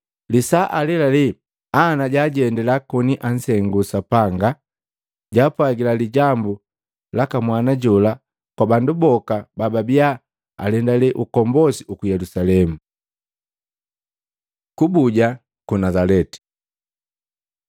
Lisaa alelale, Ana jajendila, koni ansengula Sapanga, jaapwagila lijambu laka mwana jola kwa bandu boka bababia alendale ukombosi uku Yelusalemu. Kubuja ku Nazaleti